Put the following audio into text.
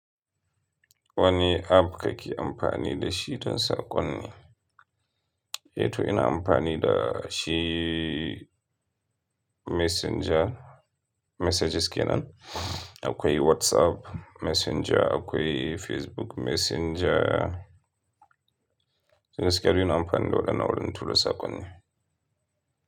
Wani app kake amfani da shi don saƙonni? Eh to ina amfani da shi Messenger, messages kenan. Akwai whatsapp Mesinja, akwai facebook mesinja, toh gaskiya ni ina amfani da wayannan wajen tura sakonni.